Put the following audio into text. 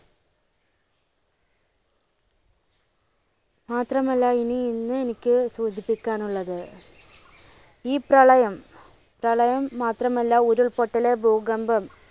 മാത്രമല്ല ഇനി ഇന്ന് എനിക്ക് സൂചിപ്പിക്കാനുള്ളത് ഈ പ്രളയം, പ്രളയം മാത്രമല്ല ഉരുൾപൊട്ടല് ഭൂകമ്പം